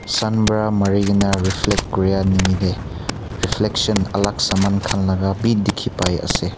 sun para mari kina reflect koria nimide reflection alag saman khan laga bhi dekhi pai ase.